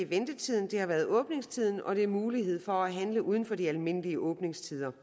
ventetiden det har været åbningstiden og det muligheden for at handle uden for de almindelige åbningstider